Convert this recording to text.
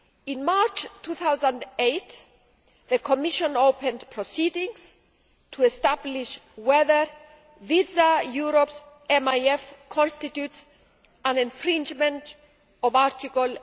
In March 2008, the Commission opened proceedings to establish whether Visa Europe's MIF constitutes an infringement of Article